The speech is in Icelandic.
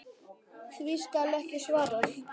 Því skal ekki svarað.